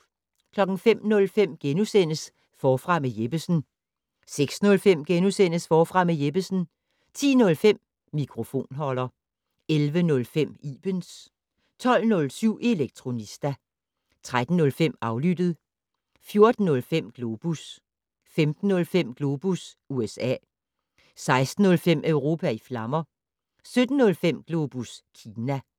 05:05: Forfra med Jeppesen * 06:05: Forfra med Jeppesen * 10:05: Mikrofonholder 11:05: Ibens 12:07: Elektronista 13:05: Aflyttet 14:05: Globus 15:05: Globus USA 16:05: Europa i flammer 17:05: Globus Kina